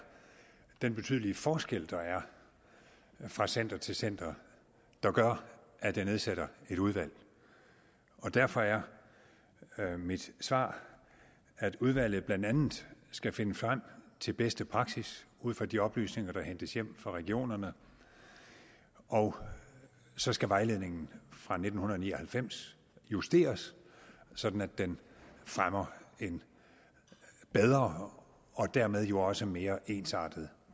den betydelige forskel der er fra center til center der gør at jeg nedsætter et udvalg derfor er er mit svar at udvalget blandt andet skal finde frem til bedste praksis ud fra de oplysninger der hentes hjem fra regionerne og så skal vejledningen fra nitten ni og halvfems justeres sådan at den fremmer en bedre og dermed jo også mere ensartet